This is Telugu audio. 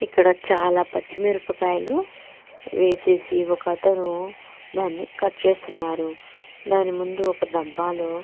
ఇక్కడ చాల పచ్చి మిరపకాయలు వేసేసి ఒకతను దాని కట్ చేస్తున్నారు దాని ముందు ఒక డబ్బాలో--